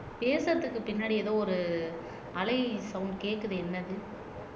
பேசுறதுக்கு பின்னாடி ஏதோ ஒரு அலை சவுண்ட் கேட்குது என்னது